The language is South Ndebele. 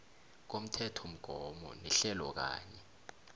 komthethomgomo nehlelo kanye